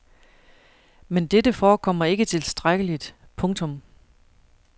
Men dette forekommer ikke tilstrækkeligt. punktum